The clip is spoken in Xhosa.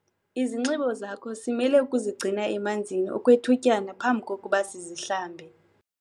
Izinxibo zakho simele ukuzigcina emanzini okwethutyana phambi kokuba sizihlambe.